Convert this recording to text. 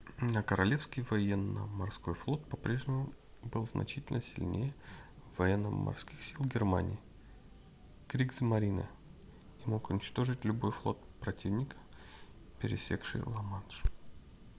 но королевский военно-морской флот по-прежнему был значительно сильнее военно-морских сил германии кригсмарине и мог уничтожить любой флот противника пересекший ла-манш